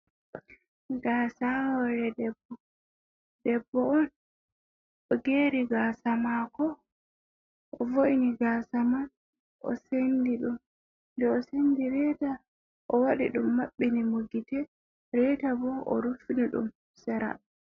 Gaasa ha hore debbo, debbo on o geri gaasa mako o vo’ni gasa man, den o sendi ɗum reta o waɗi ɗum mabbini mo gite, reta bo o ruffini ɗum sera.